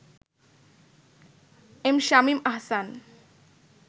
M Shamim Ahsan